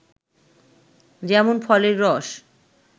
যেমন ফলের রস